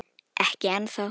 Ekki ennþá